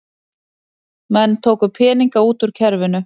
Menn tóku peninga út úr kerfinu